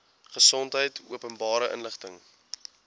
gesondheid openbare inligting